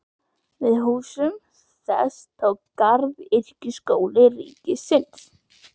Við húsum þess tók Garðyrkjuskóli ríkisins.